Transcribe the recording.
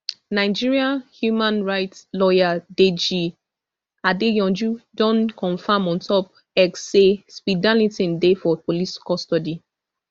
nigeria human right lawyer deyi adeyanju don confam ontop x say speed darlington dey for police custody